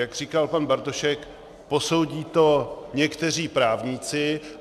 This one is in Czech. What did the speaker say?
Jak říkal pan Bartošek, posoudí to někteří právníci.